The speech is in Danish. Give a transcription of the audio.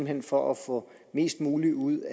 hen for at få mest muligt ud